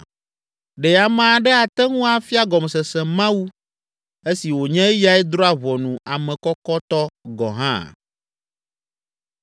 “Ɖe ame aɖe ate ŋu afia gɔmesese Mawu, esi wònye eyae drɔ̃a ʋɔnu ame kɔkɔtɔ gɔ̃ hã?